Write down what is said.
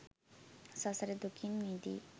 සසර දුකින් මිදී